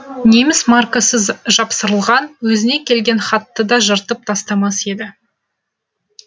неміс маркасы жапсырылған өзіне келген хатты да жыртып тастамас еді